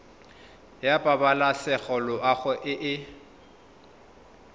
ya pabalesego loago e e